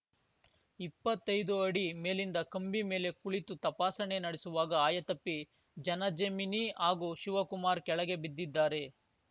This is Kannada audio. ಇಪ್ಪತ್ತೈದು ಅಡಿ ಮೇಲಿಂದ ಕಂಬಿ ಮೇಲೆ ಕುಳಿತು ತಪಾಸಣೆ ನಡೆಸುವಾಗ ಆಯತಪ್ಪಿ ಜನಜೆಮಿನಿ ಹಾಗೂ ಶಿವಕುಮಾರ್‌ ಕೆಳಗೆ ಬಿದ್ದಿದ್ದಾರೆ